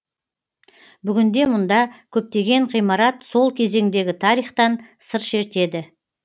бүгінде мұнда көптеген ғимарат сол кезеңдегі тарихтан сыр шертеді